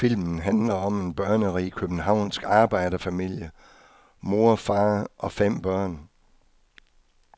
Filmen handler om en børnerig københavnsk arbejderfamilie, mor og far og fem børn.